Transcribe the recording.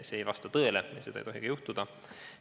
See ei vasta tõele, seda ei tohigi juhtuda.